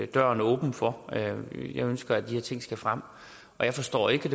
døren åben for jeg ønsker at de her ting skal frem jeg forstår ikke